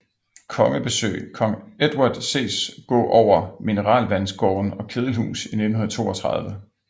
Kongebesøg kong Edward ses går over mineralvandsgården og kedelhus i 1932